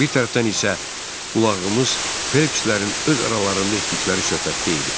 Bir tərəfdən isə qulağımız Phelpslərin öz aralarında etdikləri söhbətdə idi.